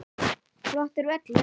Flottur völlur.